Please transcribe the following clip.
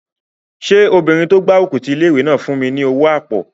Ṣé obìnrin tó gbárùkù ti ilé-ìwé náà fún mi ní owó àpò?